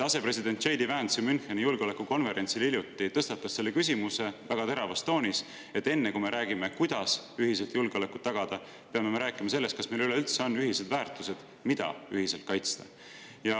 Asepresident J. D. Vance ju Müncheni julgeolekukonverentsil hiljuti tõstatas väga teravas toonis selle küsimuse, et enne kui me räägime, kuidas ühiselt julgeolekut tagada, peame rääkima sellest, kas meil üleüldse on ühised väärtused, mida ühiselt kaitsta.